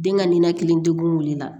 Den ka ninakili degun wulila